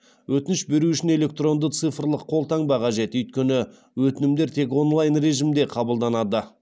өтініш беру үшін электронды цифрлық қолтаңба қажет өйткені өтінімдер тек онлайн режимде қабылданады